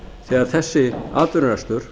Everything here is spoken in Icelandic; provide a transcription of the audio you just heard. þegar þessi atvinnurekstur